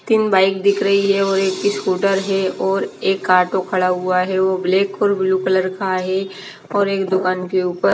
तीन बाइक दिख रही है और एक ही स्कूटर है और एक ऑटो खड़ा हुआ है वो ब्लैक और ब्लू कलर का है और एक दुकान के ऊपर --